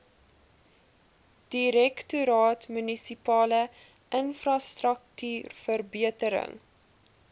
direktoraat munisipale infrastruktuurverbetering